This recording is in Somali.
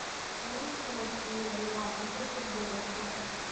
Bariiska la shiilay waa cunto degdeg ah oo fudud.